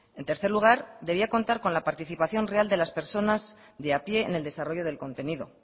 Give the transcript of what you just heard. en tercer lugar debía contar con la participación real de las personas de a pie en el desarrollo del contenido